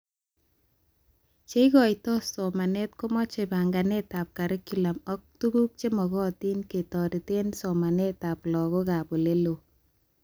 Cheikotoi somanet komache banganetab curriculum ak tuguk chemagatin ketoretee somanetab laguk ab oleloo